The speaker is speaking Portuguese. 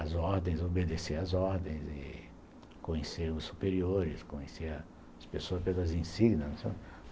As ordens, obedecer as ordens e conhecer os superiores, conhecer as pessoas pelas )